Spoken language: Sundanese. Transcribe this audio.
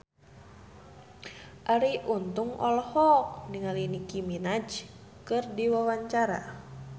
Arie Untung olohok ningali Nicky Minaj keur diwawancara